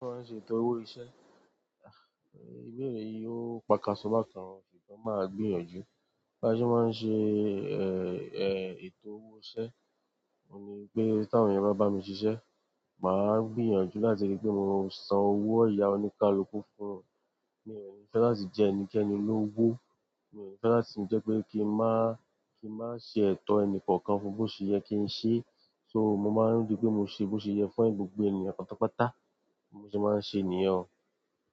Mo máa ń ṣe ètò owó iṣẹ́. Ìbéèrè yìí ó pakasọ bákan, ṣùgbọ́n màá gbìyànjú. Bí a ṣe máa ń ṣe ètò owó iṣẹ́, òun ni pé tí àwọn ènìyàn bá bá mi ṣiṣẹ́, màá gbìyànjú láti ríi pé mo san owó ọ̀yà oníkálukú fún wọn. Mi ò ní fẹ́ láti jẹ ẹnikẹ́ni lówó, mi ò ní fẹ́ láti jẹ́ pé kí n má, kí n má ṣe ètò ẹni kọ̀ọ̀kan fún bó ṣe yẹ kí n ṣeé. So mo máa ń ríi pé mo ṣe bó ṣe yẹ fún gbogbo ènìyàn pátápátá. Bí mo ṣe máa ń ṣe nìyẹn o.